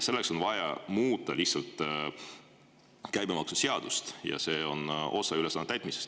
Selleks on vaja muuta käibemaksuseadust ja see on osa ülesande täitmisest.